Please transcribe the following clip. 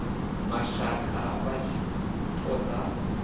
mashaka vha tshi ṱo ḓa